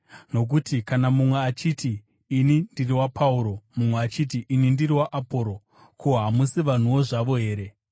Nokuti kana mumwe achiti, “Ini ndiri waPauro,” mumwe achiti, “Ini ndiri waAporosi,” ko, hamusi vanhuwo zvavo here?